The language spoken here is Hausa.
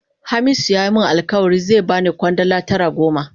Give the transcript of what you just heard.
Hamisu ya yi min alkawali zai ba ni Kwandala tara gobe.